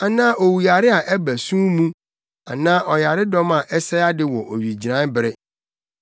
anaa owuyare a ɛba sum mu, anaa ɔyaredɔm a ɛsɛe ade wɔ owigyinae bere.